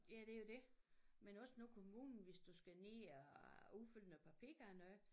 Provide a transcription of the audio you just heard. Ja det jo dét men også nu kommunen hvis du skal ned og udfylde noget papir og noget